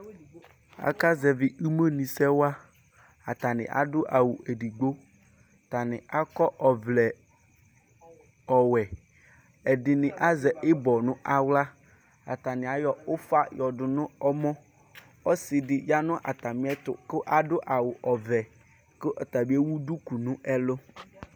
Akazɛvi imenʋsɛ wa Atani adʋ awʋ edigbo Atani akɔ ɔvlɛ ɔwɛ Atani azɛ ibɔ nʋ aɣla Atani ayɔ ʋfa yɔdʋ nʋ ɔmɔ Ɔsi di ya nʋ atami ɛtʋ kʋ adʋ awʋ ɔvɛ kʋ ɔtabi ewu duku nʋ ɛlʋ